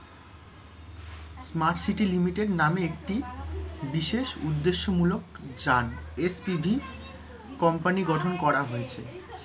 smart city limited নামে একটি বিশেষ উদ্দেশ্যমূলক যান, এর TV company গঠন করা হয়েছে,